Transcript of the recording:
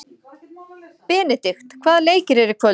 Benidikt, hvaða leikir eru í kvöld?